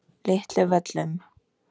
Litlu Völlum